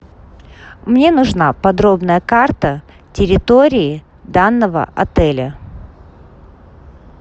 мне нужна подробная карта территории данного отеля